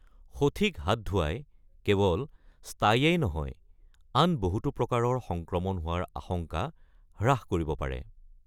সঠিক হাত ধোৱাই কেৱল ষ্টাইয়েই নহয়, আন বহুতো প্ৰকাৰৰ সংক্ৰমণ হোৱাৰ আশংকা হ্ৰাস কৰিব পাৰে।